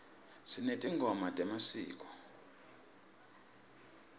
sinetingoma temasiko